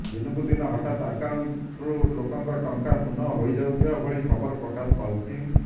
ଦିନକୁ ଦିନ ହଠାତ୍ ଆକାଉଣ୍ଟରୁ ଲୋକଙ୍କ ଟଙ୍କା ଶୂନ ହୋଇଯାଉଥିବା ଭଳି ଖବର ପ୍ରକାଶ ପାଉଛି